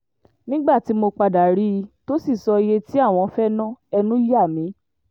nígbà tí mo padà rí i tó sì sọ iye tí àwọn fẹ́ẹ́ na ẹnu yà mí